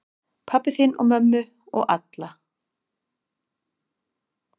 Pabba þinn og mömmu og alla.